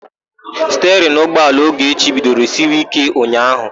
Stiarịnụ ụgbọala Ogechukwu bidoro siwe íké ụnyaahụ.